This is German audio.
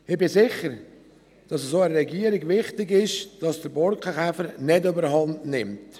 Ich bin sicher, dass es auch der Regierung wichtig ist, dass der Borkenkäfer nicht überhandnimmt.